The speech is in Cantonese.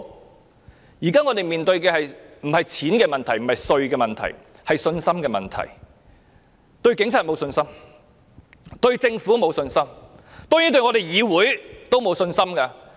香港現時並非面對錢或稅務的問題，而是信心問題，因為市民對警察沒有信心、對政府沒有信心，當然對議會也沒有信心。